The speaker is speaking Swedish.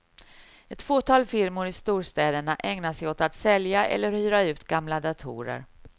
Ett fåtal firmor i storstäderna ägnar sig åt att sälja eller hyra ut gamla datorer.